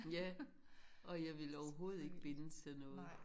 Ja og jeg ville overhovedet ikke bindes til noget